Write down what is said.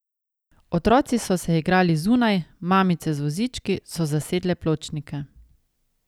Otroci so se igrali zunaj, mamice z vozički so zasedle pločnike ...